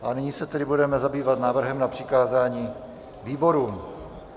A nyní se tedy budeme zabývat návrhem na přikázání výborům.